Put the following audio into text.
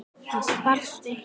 Það sparast eitt í.